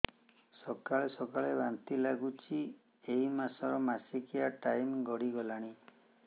ସକାଳେ ସକାଳେ ବାନ୍ତି ଲାଗୁଚି ଏଇ ମାସ ର ମାସିକିଆ ଟାଇମ ଗଡ଼ି ଗଲାଣି